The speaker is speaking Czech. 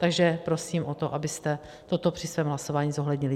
Takže prosím o to, abyste toto při svém hlasování zohlednili.